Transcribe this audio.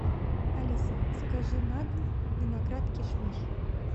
алиса закажи на дом виноград кишмиш